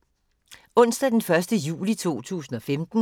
Onsdag d. 1. juli 2015